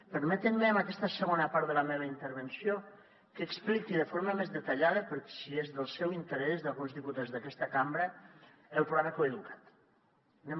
permetin me en aquesta segona part de la meva intervenció que expliqui de forma més detallada per si és del seu interès d’alguns diputats d’aquesta cambra el programa coeduca’t